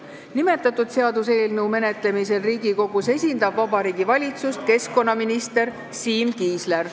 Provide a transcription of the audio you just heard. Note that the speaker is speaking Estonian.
Nimetatud seaduseelnõu menetlemisel Riigikogus esindab Vabariigi Valitsust keskkonnaminister Siim Kiisler.